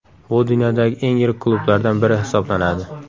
Bu dunyodagi eng yirik klublardan biri hisoblanadi.